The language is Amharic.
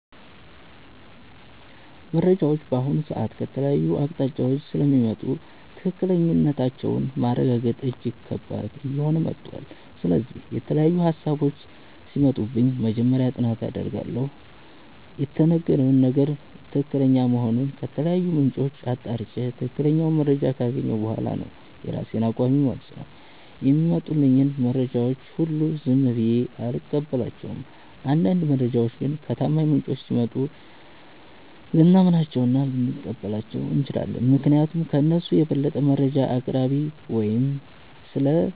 መረጃዎች በአሁኑ ሰዓት ከተለያዩ አቅጣጫዎች ስለሚመጡ ትክክለኛነታቸውን ማረጋገጥ እጅግ ከባድ እየሆነ መጥቷል። ስለዚህ፣ የተለያዩ ሃሳቦች ሲመጡብኝ መጀመሪያ ጥናት አደርጋለሁ። የተነገረው ነገር ትክክለኛ መሆኑን ከተለያዩ ምንጮች አጣርቼ፣ ትክክለኛውን መረጃ ካገኘሁ በኋላ ነው የራሴን አቋም የምወስነው። የሚመጡልኝን መረጃዎች ሁሉ ዝም ብዬ አልቀበላቸውም። አንዳንድ መረጃዎች ግን ከታማኝ ምንጮች ሲመጡ ልናምናቸውና ልንቀበላቸው እንችላለን። ምክንያቱም ከእነሱ የበለጠ መረጃ አቅራቢ ወይም ስለ